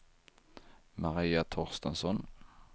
Maria Torstensson